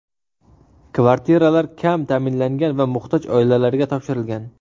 Kvartiralar kam ta’minlangan va muhtoj oilalarga topshirilgan.